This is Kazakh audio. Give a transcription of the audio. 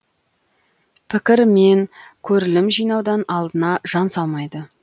пікір мен көрілім жинаудан алдына жан салмайды